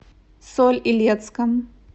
соль илецком